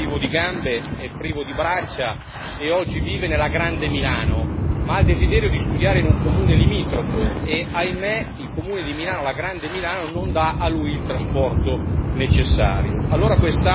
Marcos è privo di gambe, è privo di braccia, e oggi vive nella grande Milano, ma ha il desiderio di studiare in un comune limitrofo e, ahimè, il comune di Milano, la grande Milano, non dà a lui il trasporto necessario.